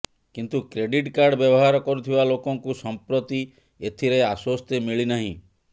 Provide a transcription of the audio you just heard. କିନ୍ତୁ credit card ବ୍ୟବହାର କରୁଥିବା ଲୋକଙ୍କୁ ସଂପ୍ରତି ଏଥିରେ ଆଶ୍ବସ୍ତି ମିଳିନାହିଁ